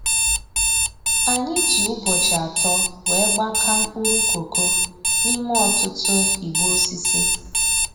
Anyị ji ụbọchị atọ wee gbakaa mkpụrụ koko n'ime ọtụtụ igbe osisi